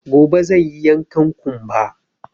Gobe zan yi yankan ƙumba